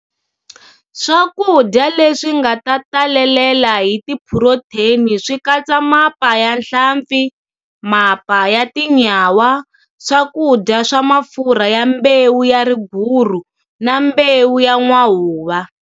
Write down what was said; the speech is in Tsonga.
Swakudya leswi nga ta talelela hi tiphurotheni swi katsa mapa ya hlampfi, mapa ya tinyawa, swakudya swa mafurha ya mbewu ya riguru na mbewu ya n'wahuva.